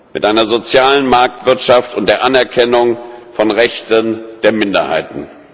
mit einer sozialen Marktwirtschaft und der Anerkennung der Rechte von Minderheiten.